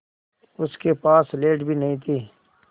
उसके पास स्लेट भी नहीं थी